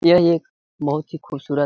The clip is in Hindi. यह एक बहुत ही खूबसूरत --